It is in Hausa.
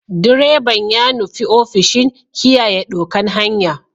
Direban ya nufi ofishin kiyaye ɗokan hanya.